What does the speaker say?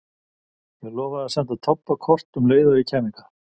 Ég lofaði að senda Tobba kort um leið og ég kæmi hingað.